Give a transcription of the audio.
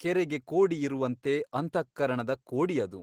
ಕೆರೆಗೆ ಕೋಡಿ ಇರುವಂತೆ ಅಂತಃಕರಣದ ಕೋಡಿ ಅದು.